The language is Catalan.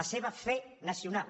la seva fe nacional